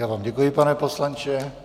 Já vám děkuji, pane poslanče.